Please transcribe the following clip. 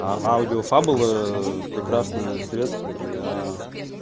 а аудиофабл прекрасное средство для